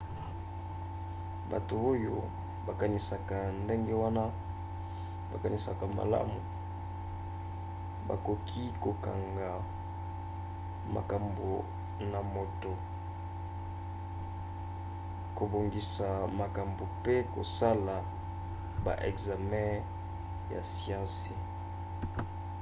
bato oyo bakanisaka ndenge wana bakanisaka malamu bakoki kokanga makambo na moto kobongisa makambo mpe kosala ba ekzame ya siansi